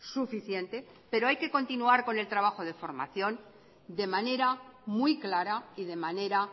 suficiente pero hay que continuar con el trabajo de formación de manera muy clara y de manera